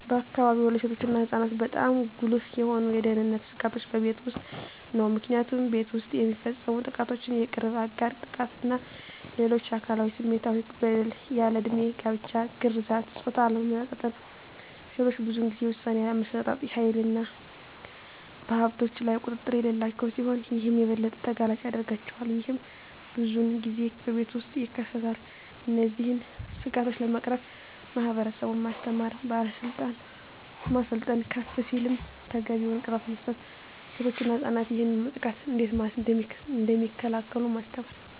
በአካባቢዎ ለሴቶች እና ለህፃናት በጣም ጉልህ የሆኑ የደህንነት ስጋቶች በቤት ውስጥ ነው። ምክንያቱም ቤት ውስጥ የሚፈፀሙ ጥቃቶች የቅርብ አጋር ጥቃት እና ሌሎች አካላዊ እና ስሜታዊ በደል፣ ያልድሜ ጋብቻ፣ ግርዛት፣ የፆታ አለመመጣጠን፣ ሴቶች ብዙን ጊዜ የውሣኔ አሠጣጥ ሀይልና በሀብቶች ላይ ቁጥጥር የሌላቸው ሲሆን ይህም የበለጠ ተጋላጭ ያደርጋቸዋል። ይህም ብዙን ጊዜ በቤት ውስጥ ይከሰታል። እነዚህን ስጋቶች ለመቅረፍ ማህበረሰቡን ማስተማር፣ ማሰልጠን፣ ከፍ ሲልም ተገቢውን ቅጣት መስጠት፣ ሴቶች እና ህፃናት ይህንን ጥቃት እንዴት እደሚከላከሉ ማስተማር።